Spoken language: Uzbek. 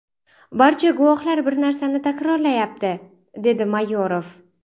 Barcha guvohlar bir narsani takrorlayapti”, dedi Mayorov.